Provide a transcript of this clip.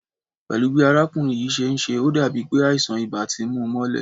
Pẹ́lú bi arákùnrin yìí ṣe ń ṣe, ó dàbí pé àìsàn ibà ti mú u mọ́lẹ̀